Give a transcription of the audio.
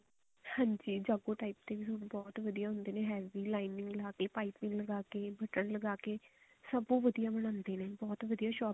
ਹਾਂਜੀ ਜਾਗੋ type ਦੇ suit ਬਹੁਤ ਵਧੀਆ ਹੁੰਦੇ ਨੇ lining ਲਗਾ ਕੇ ਪਾਈਪਿੰਨ ਲਗਾ ਕੇ ਲਗਾ ਕੇ ਸਭ ਉਹ ਵਧੀਆ ਬਣਾਉਂਦੇ ਨੇ ਬਹੁਤ ਵਧੀਆ ਸ਼ੋਪ